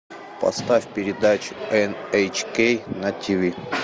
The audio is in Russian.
поставь передачу эн эйч кей на ти ви